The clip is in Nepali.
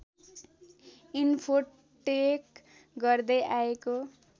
इन्फोटेक गर्दै आएको